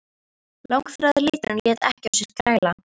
Langþráður liturinn lét ekki á sér kræla.